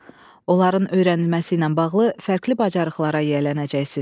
Onların öyrənilməsi ilə bağlı fərqli bacarıqlara yiyələnəcəksiz.